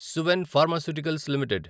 Suven pharmaceuticals limited